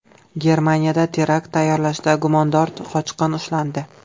Germaniyada terakt tayyorlashda gumondor qochqin ushlandi.